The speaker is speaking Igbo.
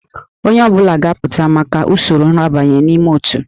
Onye ọ bụla ga-apụta maka usoro nrabanye n'ime òtù